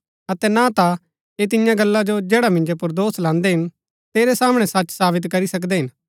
अतै ना ता ऐह तियां गल्ला जो जैडा मिन्जो पुर दोष लान्दै हिन तेरै सामणै सच सावित करी सकदै हिन